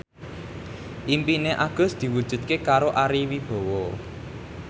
impine Agus diwujudke karo Ari Wibowo